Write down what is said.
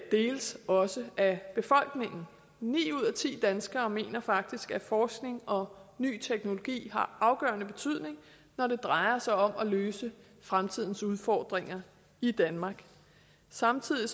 deles også af befolkningen ni ud af ti danskere mener faktisk at forskning og ny teknologi har afgørende betydning når det drejer sig om at løse fremtidens udfordringer i danmark samtidig